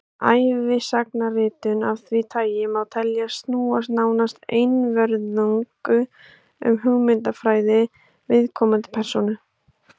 ævisagnaritun af því tagi má teljast snúast nánast einvörðungu um hugmyndafræði viðkomandi persónu